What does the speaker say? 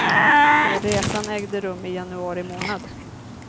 Resan ägde rum i januari månad.